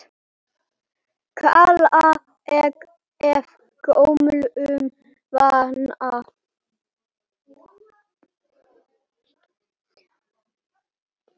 kalla ég af gömlum vana.